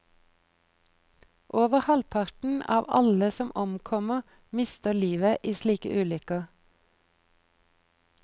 Over halvparten av alle som omkommer mister livet i slike ulykker.